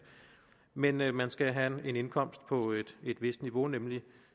men man man skal have en indkomst på et vist niveau nemlig